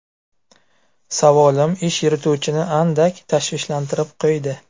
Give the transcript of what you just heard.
Savolim ish yurituvchini andak tashvishlantirib qo‘ydi.